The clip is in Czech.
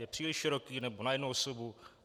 Je příliš široký, nebo na jednu osobu?